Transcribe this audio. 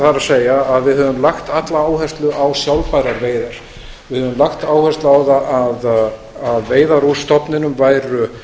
það er við höfum lagt alla áherslu á sjálfbærar veiðar við höfum lagt áherslu á það að veiðar úr stofninum væru